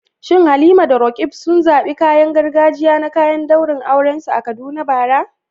Shin Halima da Roqeeb sun zaɓi kayan gargajiya na kayan daurin aurensu a Kaduna bara?